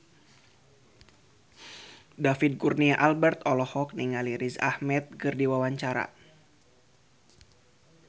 David Kurnia Albert olohok ningali Riz Ahmed keur diwawancara